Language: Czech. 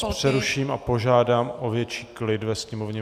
Já vás přeruším a požádám o větší klid ve sněmovně.